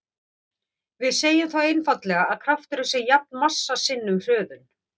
Við segjum þá einfaldlega að krafturinn sé jafn massa sinnum hröðun.